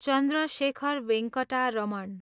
Chandrashekhar Venkata Raman